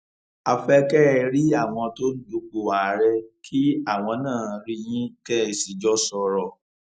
a fẹ kẹ ẹ rí àwọn tó ń dupò àárẹ kí àwọn náà rí yín kẹ ẹ sì jọ sọrọ